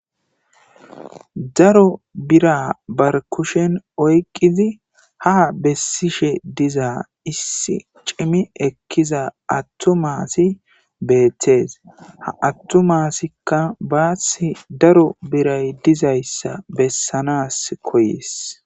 daro bira barkushen oyqizi ha bessishe dizaa issi cimi ekkiza attu maasi beethtees ha attumasikka baasi daro biray dizayssa bessanas koyees